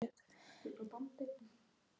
Ég kvaðst vera saddur og vel á mig kominn.